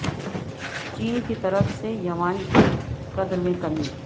چین کی طرف سے یوان کی قدر میں کمی